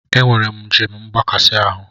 Enwere m njem mgbakasị ahụ.